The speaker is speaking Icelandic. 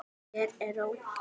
Hér er ró.